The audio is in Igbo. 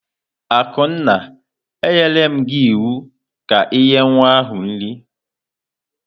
Akunna, e nyerem gi iwu ka i nye nwa nri!